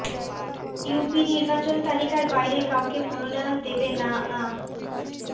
UP নির্বাচন তালিকার বাইরে কাউকে মনোনয়ন দেবে না আ